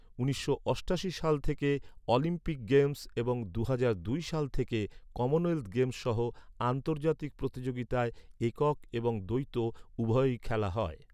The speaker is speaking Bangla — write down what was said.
উনিশশো অষ্টাশি সাল থেকে অলিম্পিক গেমস এবং দুহাজার দুই সাল থেকে কমনওয়েলথ গেমস সহ আন্তর্জাতিক প্রতিযোগিতায় একক এবং দ্বৈত উভয়ই খেলা হয়।